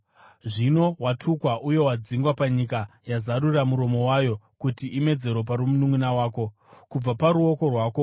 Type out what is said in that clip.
Zvino watukwa uye wadzingwa panyika yazarura muromo wayo kuti imedze ropa romununʼuna wako kubva paruoko rwako.